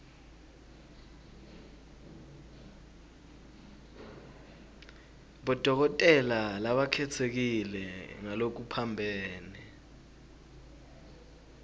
bodokotela labakhetsekile ngalokuphambene